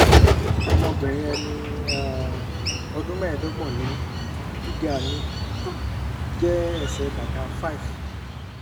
ọmọbìnrin ẹni um ọdún mẹ́ẹ̀ẹ́dọ́gbọ̀n ni mí gíga mi jẹ́ ẹsẹ̀ bàtà five